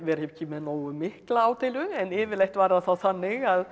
ekki með nógu mikla ádeilu en yfirleitt var það þá þannig að